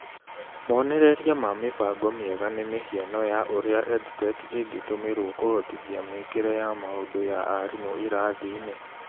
Monereria ma mĩbango mĩega nĩ mĩhiano ya ũria EdTech ĩngĩtũmirwo kũhotithia mĩĩkire ya maũndũ ya arimũ irathi-inĩ.